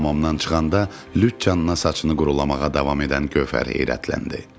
O hamamdan çıxanda lüt canına saçını quruplamağa davam edən Gövhər heyrətləndi.